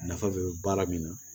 Nafa bɛ baara min na